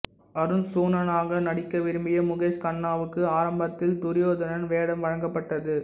அருச்சுனனாக நடிக்க விரும்பிய முகேஷ் கண்ணாவுக்கு ஆரம்பத்தில் துரியோதனன் வேடம் வழங்கப்பட்டது